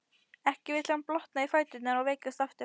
Ekki vill hann blotna í fæturna og veikjast aftur.